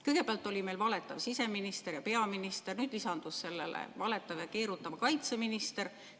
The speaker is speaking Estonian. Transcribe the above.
Kõigepealt olid meil valetav siseminister ja peaminister, nüüd lisandus valetav ja keerutav kaitseminister.